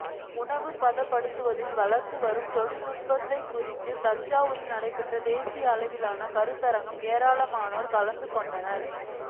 உணவு பதப்படுத்துதலில் வளர்ந்து வரும் தொழில்நுட்பம் குறித்து தஞ்சாவூரில் நடைபெற்ற தேசிய அளவிலான கருத்தரங்கு ஏராளமானோர் கலந்து கொண்டனர்